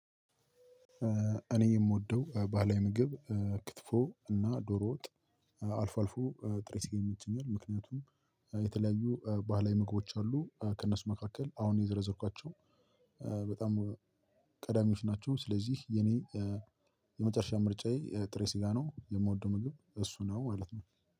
እኔ የምወደው ባህላዊ ምግብ እ ክትፎ እና ዶሮ ወጥ አልፎ አልፎ ጥሬ ስጋም ጭምር ምክንያቱም የተለያዩ እ ባህላዊ ምግቦች አሉ ከእነሱ መካከል አሁን የዘረዘርኳቸው በጣም ቀዳሚዎች ናቸው ስለዚህ የኔ የመጨረሻ ምርጫዬ ጥሬ ስጋ ነው የምወደው ምግብ እሱ ነው ማለት ነው።